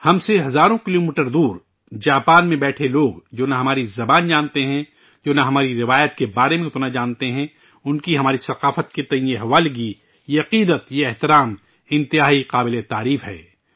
ہم سے ہزاروں کلومیٹر دور جاپان میں بیٹھے لوگ جو نہ ہماری زبان جانتے ہیں ، جو نہ ہماری روایات کے بارے میں اتنا جانتے ہیں، ان کی ہماری ثقافت کے لئے اتنی لگن ، یہ عقیدت، یہ احترام ، بہت ہی قابل تعریف ہے